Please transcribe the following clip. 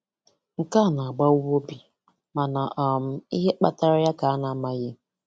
Nkè a na- àgbáwá óbì mànà um ìhè kpátárá yá ka a na- ámághị